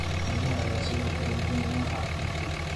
Miraha ayaa sidoo kale muhiim u ah caafimaadka.